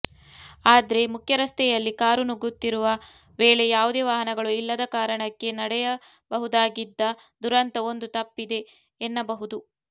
ಆದ್ರೆ ಮುಖ್ಯರಸ್ತೆಯಲ್ಲಿ ಕಾರು ನುಗ್ಗುತ್ತಿರುವ ವೇಳೆ ಯಾವುದೇ ವಾಹನಗಳು ಇಲ್ಲದ ಕಾರಣಕ್ಕೆ ನಡೆಯಬಹುದಾಗಿದ್ದ ದುರಂತ ಒಂದು ತಪ್ಪಿದೆ ಎನ್ನಬಹುದು